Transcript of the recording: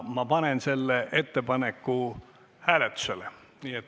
Ma panen selle ettepaneku hääletusele.